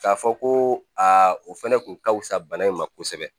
K'a fɔ ko aa o fɛnɛ kun ka fusa bana in ma kosɛbɛ